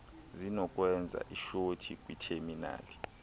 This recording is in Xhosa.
zinokwenza ishothi kwitheminali